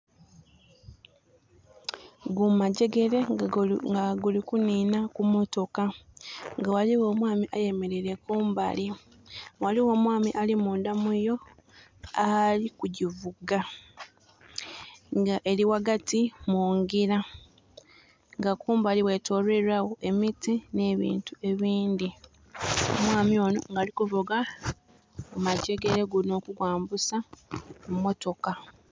Gumagyegere nga guli kuninha ku motoka nga ghaligho omwami ayemereire kumbali. Ghaligho omwami ali mundha muyoo ali kugivuga nga eri ghagati mungila, nga kumbali ghetoloilwa gho emiti ne bintu ebindhi. Omwami ono nga alikuvuga gu magyegere gunho okugwambusa ku motoka.